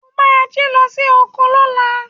O máa jí lọ sí oko lọ́la.